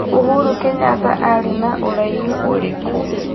Uhuru Kenyatta arĩ na ũraihu ũrikũ?